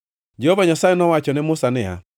Jehova Nyasaye nowacho ne Musa niya,